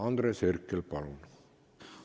Andres Herkel, palun!